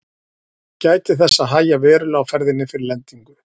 Gætið þess að hægja verulega á ferðinni fyrir lendingu.